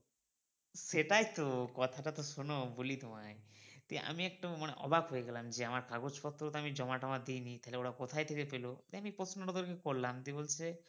সেটাই তো কথাটা তো শোনো বলি তোমায় দিয়ে আমি একটু মানে অবাক হয়ে গেলাম যে আমার কাগজ পত্র তো আমি জমা টমা দি নি তাহলে ওরা কোথায় থেকে পেলো দিয়ে আমি প্রশ্নটা ওদেরকে করলাম। দিয়ে বলছে,